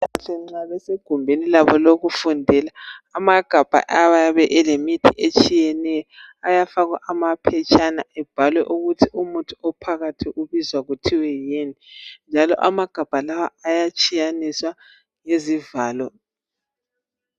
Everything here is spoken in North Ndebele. Abezempilakahle nxa besegumbuni labo lokufundela , amagabha ayabe elemithi etshiyeneyo ayafakwa amaphetshana ebhalwe ukuthi umuthi ophakathi ubuzwa kuthiwe yini njalo amagabha lawa ayatshiyaniswa izivalo